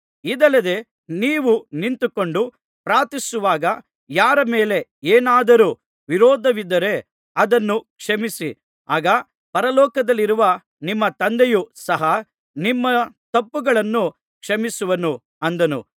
ಇದಲ್ಲದೆ ನೀವು ನಿಂತುಕೊಂಡು ಪ್ರಾರ್ಥಿಸುವಾಗ ಯಾರ ಮೇಲೆ ಏನಾದರೂ ವಿರೋಧವಿದ್ದರೆ ಅದನ್ನು ಕ್ಷಮಿಸಿರಿ ಆಗ ಪರಲೋಕದಲ್ಲಿರುವ ನಿಮ್ಮ ತಂದೆಯು ಸಹ ನಿಮ್ಮ ತಪ್ಪುಗಳನ್ನು ಕ್ಷಮಿಸುವನು ಅಂದನು